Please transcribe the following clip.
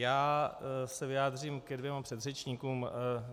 Já se vyjádřím ke dvěma předřečníkům.